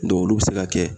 olu bɛ se ka kɛ